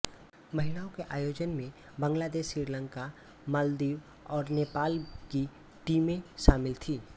महिलाओं के आयोजन में बांग्लादेश श्रीलंका मालदीव और नेपाल की टीमें शामिल थीं